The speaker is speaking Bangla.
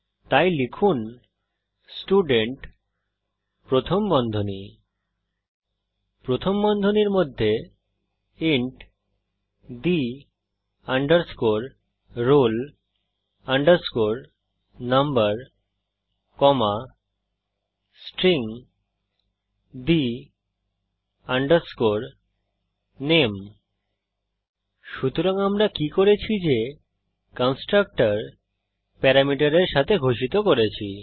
তাই লিখুন স্টুডেন্ট প্রথম বন্ধনী প্রথম বন্ধনীর মধ্যে int the roll number comma string the name সুতরাং আমরা কি করেছি যে কন্সট্রকটর প্যারামিটারের সাথে ঘোষিত করেছি